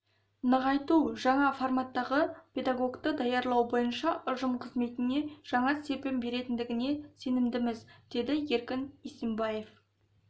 нығайту жаңа форматтағы педагогты даярлау бойынша ұжым қызметіне жаңа серпін беретіндігіне сенімдіміз деді еркін исимбаев